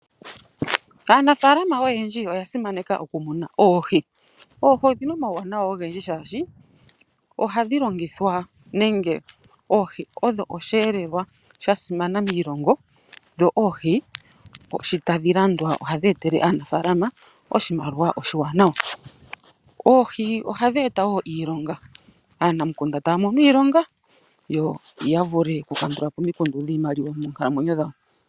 aanafalama oyendji oya simaneka oku muna oohi. oohi odhina omawuwanawa oohi ohadhi eta wo iilonga, aanamukunda taya mono iilonga yo yavule oku kandulapo